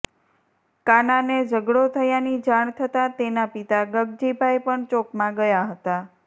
કાનાને ઝગડો થયાની જાણ થતાં તેના પિતા ગગજીભાઈ પણ ચોકમાં ગયા હતા